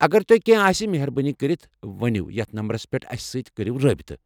اگر تۄہہِ کینٛہہ آسہِ مہربٲنی كرِتھ ؤنِو یتھ نمبرس پیٹھ اسہِ سٕتۍ کٔرِو رٲبطہٕ۔